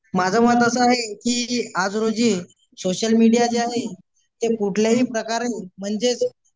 माझं म्हणणं असं आहे की आज रोजी सोशलमीडीया जे आहे तर कुठलाही प्रकारण म्हणजेच